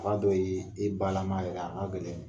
Tuma dɔw ye e balama yɛrɛ a ka gɛlɛ in ma.